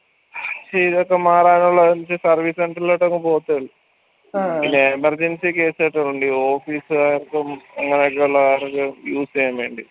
ഇതൊക്കെ മാറാനുള്ളത് service center ലോട്ടങ് പോവത്തേ ഉള്ളൂ emergency case കെട്ടുകളുണ്ട് ഈ office കാർക്കും അങ്ങനൊക്കെയുള്ള ആൾക്കാർക്ക് use എയ്യാൻ വേണ്ടി